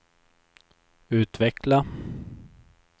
utveckla